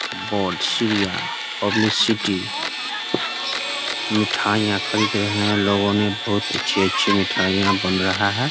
Board सीरिया publicity मिठाइयाँ खरीदे हैं लोगों ने बहुत अच्छे-अच्छे मिठाइयाँ बन रहा है ।